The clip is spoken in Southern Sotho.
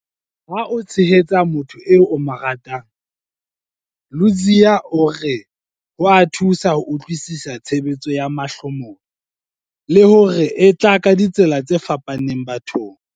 Ha o tshehetsa motho eo o mo ratang, Ludziya o re ho a thusa ho utlwisisa tshebetso ya mahlomola, le hore e tla ka ditsela tse fapaneng bathong.